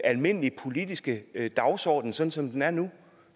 almindelige politiske dagsorden sådan som den er nu